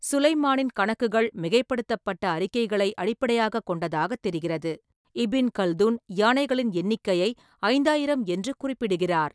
சுலைமானின் கணக்குகள் மிகைப்படுத்தப்பட்ட அறிக்கைகளை அடிப்படையாகக் கொண்டதாகத் தெரிகிறது; இபின் கல்துன் யானைகளின் எண்ணிக்கையை ஐந்தாயிரம் என்று குறிப்பிடுகிறார்.